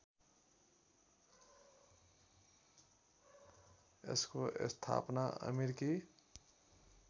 यसको स्थापना अमेरिकी